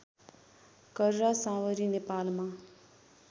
कर्रा साँवरी नेपालमा